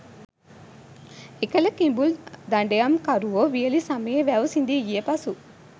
එකල කිඹුල් දඩයම් කරුවෝ වියළි සමයේ වැව් සිඳී ගිය පසු